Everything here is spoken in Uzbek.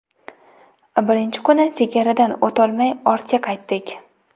Birinchi kuni chegaradan o‘tolmay ortga qaytdik.